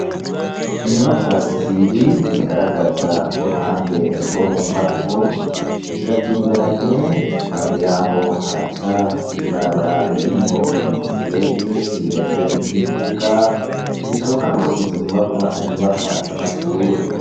Inyubakwa zibiri zigaragaza uruhande rwo mu mbavu ,ziratumberanye ,impande yaho haraca ibarabara ririmwo umusenyi, rimeze nk'imbuga bishoboka ko inzo nyubakwa ari nyubakwa z'amashure.